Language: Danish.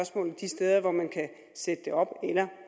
sætte det op eller